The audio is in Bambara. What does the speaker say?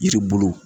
Yiri bolo